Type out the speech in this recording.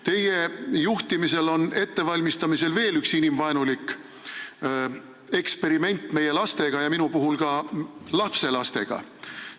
Teie juhtimisel valmistatakse ette veel üht inimvaenulikku eksperimenti meie lastega, minu puhul ka lapselastega.